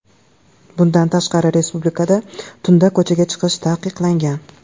Bundan tashqari, respublikada tunda ko‘chaga chiqish taqiqlangan .